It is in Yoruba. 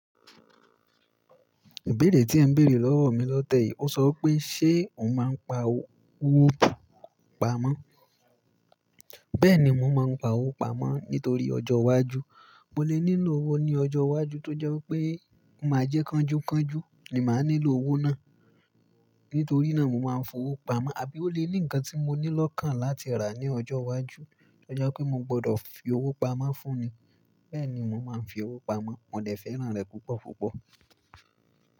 Ìbéèrè tí ẹ ń béèrè lọ́wọ́ mi lọ́tẹ́ẹ̀yìn. Ó sọ pé ṣe ò ń máa ń pa owó pamọ́? Bẹ́ẹ̀ni, mò ń máa ń pa owó pamọ́ nítorí ọjọ́ iwájú. Mo lè nílò owó ní ọjọ́ iwájú tó jẹ́ wípé máa jẹ́ kánjúkánjú ni màá nílò owó náà. Nítorí náà, mò máa ń fowó pamọ́. Àbí ó lè ní ǹkan tí mo ní lokan láti rà ní ọjọ́ iwájú tó jẹ́ pé mo gbọdọ̀ fi owó pamọ́ fún ni. Bẹ́ẹ̀ni, mò máa ń fi owó pamọ́. Mọ̀ de fẹ́ràn rẹ̀ púpọ̀púpọ̀.